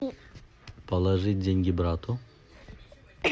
положить деньги брату